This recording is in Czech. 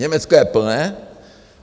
Německo je plné.